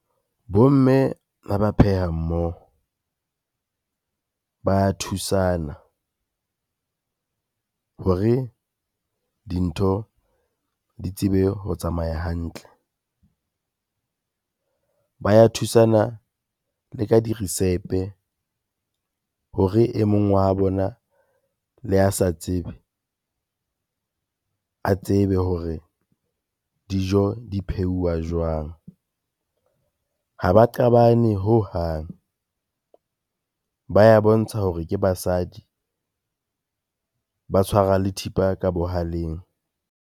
Bomme ha ba pheha mmoho, ba ya thusana hore dintho di tsebe ho tsamaya hantle. Ba ya thusana le ka dirisepe hore e mong wa bona le a sa tseba, a tsebe hore dijo di pheuwa jwang. Ha ba qabane hohang, ba ya bontsha hore ke basadi, ba tshwara le thipa ka bohaleng.